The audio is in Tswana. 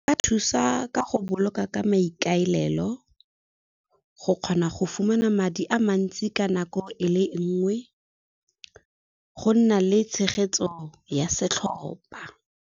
E ka thusa ka go boloka ka maikaelelo, go kgona go fumana madi a mantsi ka nako e le nngwe, go nna le tshegetso ya setlhopha.